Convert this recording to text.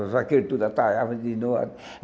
Os vaqueiros todos atalhavam de novo.